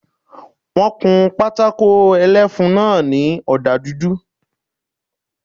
Wọ́n kun pátákó ẹlẹ́fun náà ní ọ̀dà dúdú